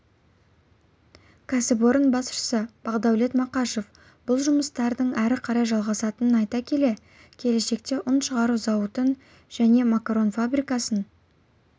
кәсіпорын басшысы бақдәулет мақашев бұл жұмыстардың әрі қарай жалғасатынын айта келе келешекте ұн шығару зауытын және макарон фабрикасын